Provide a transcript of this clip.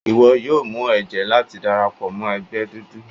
Iwọ yóò mu ẹjẹ lati darapọ mọ ẹgbẹ dudu